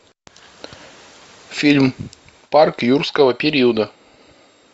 фильм парк юрского периода